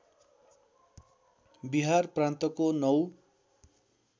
बिहार प्रान्तको ९